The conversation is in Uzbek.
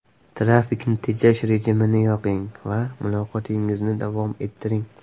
Trafikni tejash rejimini yoqing va muloqotingizni davom ettiring !